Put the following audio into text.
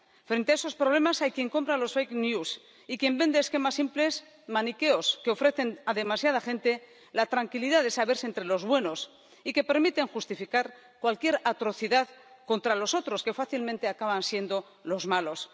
Frente a esos problemas hay quien compra los fake news y quien vende esquemas simples y maniqueos, que ofrecen a demasiada gente la tranquilidad de saberse entre los buenos y que permiten justificar cualquier atrocidad contra los otros, que fácilmente acaban siendo los malos.